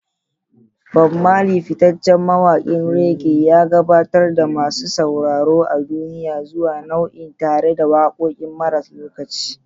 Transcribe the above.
Bob Marley, fitaccen mawakin reggae, ya gabatar da masu sauraro a duniya zuwa nau'in tare da wakokinsa maras lokaci.